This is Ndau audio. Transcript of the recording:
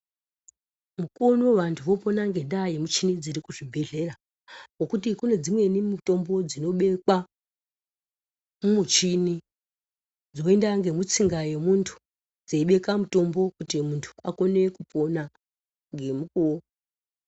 Mukuwo unou vanthu vopona ngendaa yemuchini dziri kuzvibhedhlera, ngokuti kune dzimweni mutombo dzinobekwa mumuchini dzoenda ngemutsinga yemuntu, dzeibeka mutombo kuti muntu akone kupona ngemukuwo.